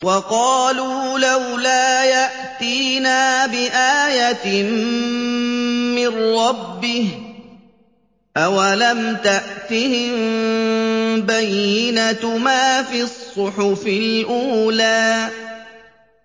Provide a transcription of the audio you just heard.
وَقَالُوا لَوْلَا يَأْتِينَا بِآيَةٍ مِّن رَّبِّهِ ۚ أَوَلَمْ تَأْتِهِم بَيِّنَةُ مَا فِي الصُّحُفِ الْأُولَىٰ